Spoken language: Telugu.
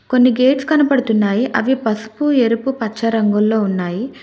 కొన్ని గేట్స్ కనబడుతున్నాయి అవి పసుపు ఎరుపు పచ్చ రంగుల్లో ఉన్నాయి.